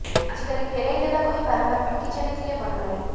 ଆଜିକାଲି ଫେରାଇ ଦେବା କହି ବାରମ୍ବାର ଠକି ଚାଲିଥିଲେ ବନମାଳୀ